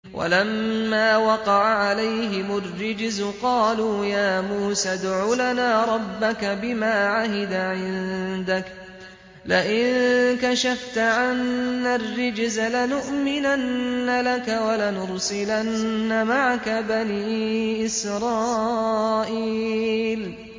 وَلَمَّا وَقَعَ عَلَيْهِمُ الرِّجْزُ قَالُوا يَا مُوسَى ادْعُ لَنَا رَبَّكَ بِمَا عَهِدَ عِندَكَ ۖ لَئِن كَشَفْتَ عَنَّا الرِّجْزَ لَنُؤْمِنَنَّ لَكَ وَلَنُرْسِلَنَّ مَعَكَ بَنِي إِسْرَائِيلَ